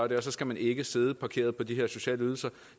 det så skal man ikke sidde parkeret på de her sociale ydelser